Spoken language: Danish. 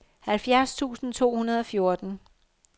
halvfjerds tusind to hundrede og fjorten